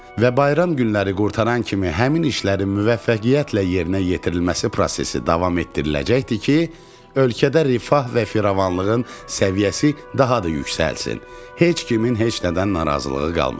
Və bayram günləri qurtaran kimi həmin işlərin müvəffəqiyyətlə yerinə yetirilməsi prosesi davam etdiriləcəkdi ki, ölkədə rifah və firavanlığın səviyyəsi daha da yüksəlsin, heç kimin heç nədən narazılığı qalmasın.